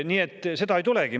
Nii et seda ei tulegi.